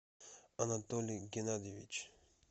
анатолий геннадьевич